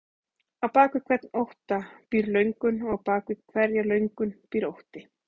Á bak við hvern ótta býr löngun og á bak við hverja löngun býr ótti.